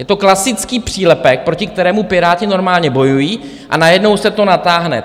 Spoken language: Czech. Je to klasický přílepek, proti kterému Piráti normálně bojují, a najednou se to natáhne.